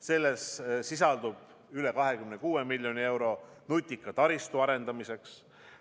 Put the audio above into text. Selles sisaldub üle 26 miljoni euro nutika taristu arendamiseks.